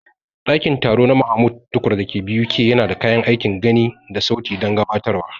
Ɗakin taro na Mahmud Tukur da ke BUK yana da kayan aikin gani da sauti don gabatarwa.